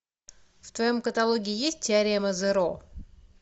в твоем каталоге есть теорема зеро